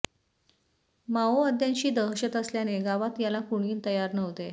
माओवाद्यांची दहशत असल्याने गावात याला कुणी तयार नव्हते